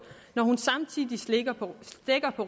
når hun samtidig slækker på